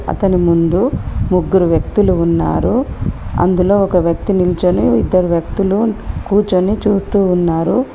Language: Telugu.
అతని ముందు ముగ్గురు వ్యక్తులు ఉన్నారు అందులో ఒక వ్యక్తి నిల్చొని ఇద్దరు వ్యక్తులు కూర్చొని చూస్తూ ఉన్నారు.